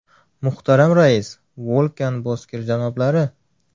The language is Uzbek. Muhtaram Rais Vo‘lkan Bozkir janoblari!